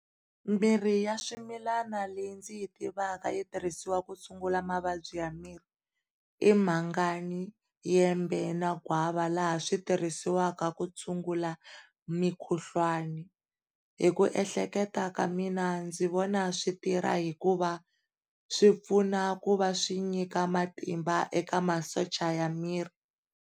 Mirhi ya swimilana leyi ndzi yi tivaka yi tirhisiwaka ku tshungula mavabyi ya miri i Mhangani, Yembe na Gwava laha swi tirhisiwaka ku tshungula mikhuhlwana hi ku ehleketa ka mina ndzi vona switirha hikuva swipfuna ku va swi nyika matimba eka masocha ya miri.